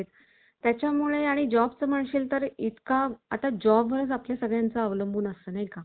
त्याच्या मुळे आणि job चं म्हणशील तर इतका आता job वर आपला सगळ्यांचा अवलंबून असतं नाही का?